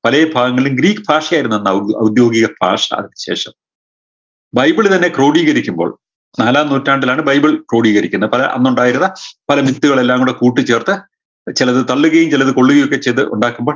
പലേ ഭാഗങ്ങളിലും ഗ്രീക്ക് ഭാഷയായിരുന്നു അന്ന് ഔധ് ഔദ്യോഗിക ഭാഷ അതിന് ശേഷം ബൈബിൾ തന്നെ ക്രോഡീകരിക്കുമ്പോൾ നാലാം നൂറ്റാണ്ടിലാണ് ബൈബിൾ ക്രോഡീകരിക്കുന്ന പല അന്നുണ്ടായിരുന്ന പല mix കളെല്ലാം കൂടക്കൂട്ടിച്ചേർത്ത് ചെലത് തള്ളുകയും ചെലത് കൊള്ളുകയുമൊക്കെ ചെയ്ത് ഉണ്ടാക്കുമ്പോൾ